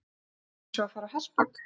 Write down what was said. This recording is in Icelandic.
Séns á að fara á hestbak?